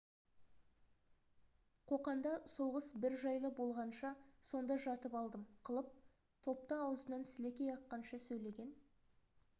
қоқанда соғыс бір жайлы болғанша сонда жатып алдым қылып топта аузынан сілекей аққанша сөйлеген